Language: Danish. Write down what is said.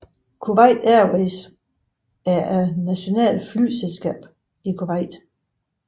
Kuwait Airways er det nationale flyselskab fra Kuwait